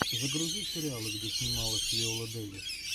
загрузи сериалы где снималась виола дэвис